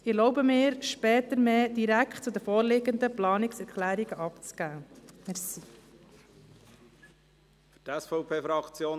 Ich erlaube mir, mich später direkt zu den vorliegenden Planungserklärungen zu äussern.